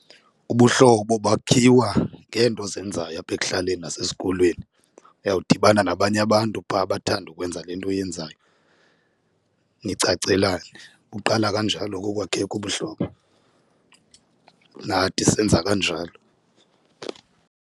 Ubuhlobo bakhiwa ngeento ozenzayo apha ekuhlaleni nasesikolweni, uyawudibana nabanye abantu phaa abathanda ukwenza le nto uyenzayo nicacelane. Buqala kanjalo ke ukwakhe ubuhlobo, nathi senza kanjalo.